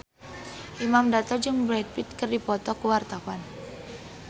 Imam Darto jeung Brad Pitt keur dipoto ku wartawan